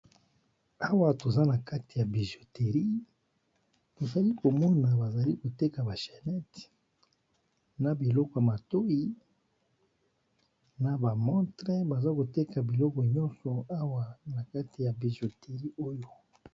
Awa toza na kati ya bijoterie tozali komona bazali koteka ba channete na biloko matoi na bamontre baza koteka biloko nyonso awa na kati ya bijoterie oyo